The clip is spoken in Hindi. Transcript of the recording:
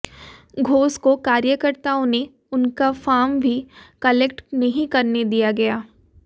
घोष को कार्यकर्ताओं ने उनका फॉम भी कलेक्ट नहीं करने दिया गया